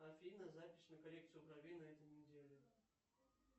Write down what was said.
афина запись на коррекцию бровей на этой неделе